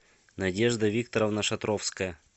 надежда викторовна шатровская